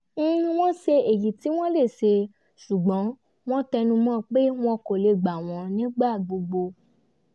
wọ́n ṣe èyí tí wọ́n lè ṣe ṣùgbọ́n wọ́n tẹnu mọ́ pé wọ́n kò lè gba wọ́n nígbà gbogbo